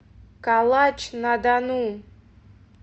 калач на дону